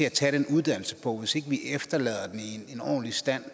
at tage den uddannelse på og hvis ikke vi efterlader den i en ordentlig stand